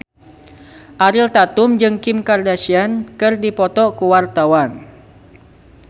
Ariel Tatum jeung Kim Kardashian keur dipoto ku wartawan